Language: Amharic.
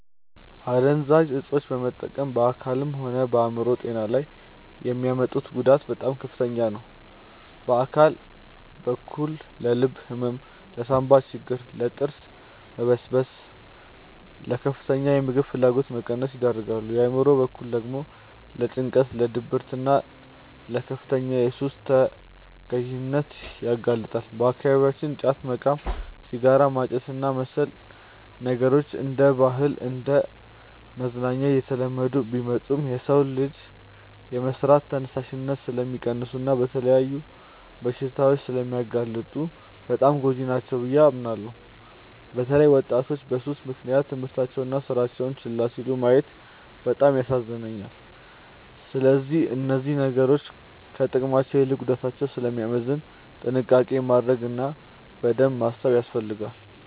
አደንዛዥ እፆችን መጠቀም በአካልም ሆነ በአእምሮ ጤና ላይ የሚያመጡት ጉዳት በጣም ከፍተኛ ነው። በአካል በኩል ለልብ ህመም፣ ለሳንባ ችግር፣ ለጥርስ መበስበስና ለከፍተኛ የምግብ ፍላጎት መቀነስ ይዳርጋል። በአእምሮ በኩል ደግሞ ለጭንቀት፣ ለድብርትና ለከፍተኛ የሱስ ተገዢነት ያጋልጣሉ። በአካባቢያችን ጫት መቃም፣ ሲጋራ ማጨስና መሰል ነገሮች እንደ ባህልና እንደ መዝናኛ እየተለመዱ ቢመጡም፣ የሰውን ልጅ የመስራት ተነሳሽነት ስለሚቀንሱና ለተለያዩ በሽታዎች ስለሚያጋልጡ በጣም ጎጂ ናቸው ብዬ አምናለሁ። በተለይ ወጣቶች በሱስ ምክንያት ትምህርታቸውንና ስራቸውን ችላ ሲሉ ማየት በጣም ያሳዝናል። ስለዚህ እነዚህ ነገሮች ከጥቅማቸው ይልቅ ጉዳታቸው ስለሚያመዝን ጥንቃቄ ማድረግ እና በደንብ ማሰብ ያስፈልጋል።